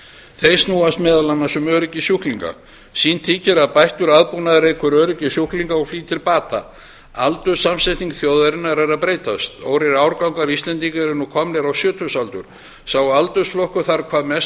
þau snúast meðal annars um öryggi sjúklinga sýnt þykir að bættur aðbúnaður eykur öryggi sjúklinga og flýtir bata aldurssamsetning þjóðarinnar er að breytast stórir árgangar íslendinga eru nú komnir á sjötugsaldur sá aldursflokkur þarf hvað mest